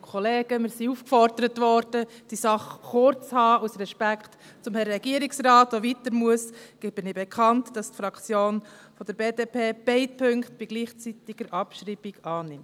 Aus Respekt gegenüber dem Herrn Regierungsrat, der weitergehen muss, gebe ich bekannt, dass die Fraktion der BDP beide Punkte bei gleichzeitiger Abschreibung annimmt.